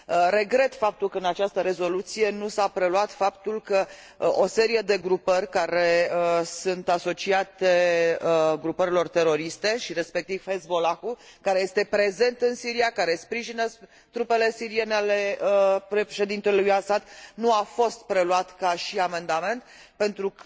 Regret că în această rezoluție nu s a preluat faptul că o serie de grupări care sunt asociate grupărilor teroriste, respectiv Hezbollah, care este prezent în Siria și care sprijină trupele siriene ale președintelui Assad, nu a fost preluat ca și amendament, deoarece,